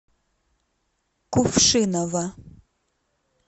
кувшиново